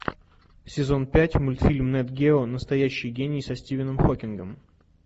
сезон пять мультфильм нет гео настоящий гений со стивеном хокингом